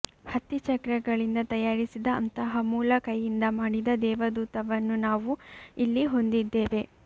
ಹತ್ತಿ ಚಕ್ರಗಳಿಂದ ತಯಾರಿಸಿದ ಅಂತಹ ಮೂಲ ಕೈಯಿಂದ ಮಾಡಿದ ದೇವದೂತವನ್ನು ನಾವು ಇಲ್ಲಿ ಹೊಂದಿದ್ದೇವೆ